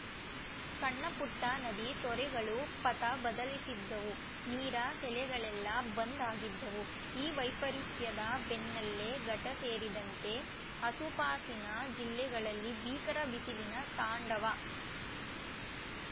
ಸಣ್ಣಪುಟ್ಟನದಿ ತೊರೆಗಳು ಪಥ ಬದಲಿಸಿದ್ದವು ನೀರ ಸೆಲೆಗಳೆಲ್ಲ ಬಂದ್‌ ಆಗಿದ್ದವು ಈ ವೈಪರೀತ್ಯದ ಬೆನ್ನಲ್ಲೇ ಘಟ್ಟಸೇರಿದಂತೆ ಆಸುಪಾಸಿನ ಜಿಲ್ಲೆಗಳಲ್ಲಿ ಭೀಕರ ಬಿಸಿಲಿನ ತಾಂಡವ